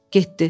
Getdi.